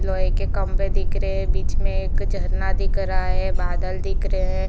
लोहे के खम्भे दिख रहे है बीच में एक झरना दिख रहा है बादल दिख रहे है।